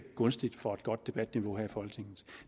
gunstigt for et godt debatniveau her i folketinget